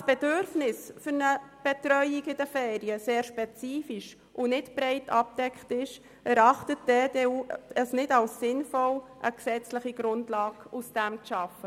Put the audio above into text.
die Bedürfnisse für eine Betreuung während den Ferien sehr spezifisch und nicht breit abgedeckt sind, erachtet die EDU die Schaffung einer gesetzlichen Grundlage als nicht sinnvoll.